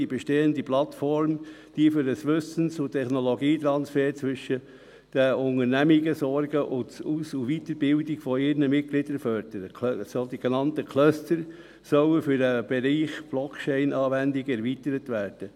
«[D]ie bestehenden Plattformen, die für einen Wissens- und Technologietransfer zwischen den Unternehmen sorgen und die Aus- und Weiterbildung ihrer Mitglieder fördern, [sogenannte Cluster, sollen] für den Bereich der Blockchain-Anwendungen [erweitert werden.